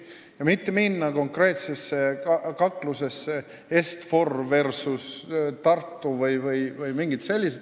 Me ei taha minna konkreetsesse kaklusse Est-For Invest versus Tartu või midagi muud sellist.